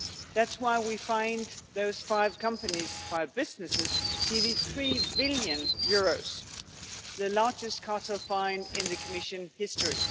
That is why we fined those five companies, five businesses, nearly EUR 3 billion, the largest cartel fine in the Commission's history.